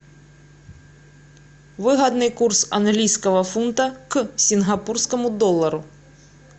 выгодный курс английского фунта к сингапурскому доллару